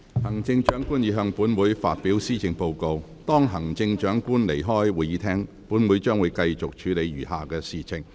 行政長官已向本會發表施政報告，當行政長官離開會議廳後，本會將繼續處理餘下的事項。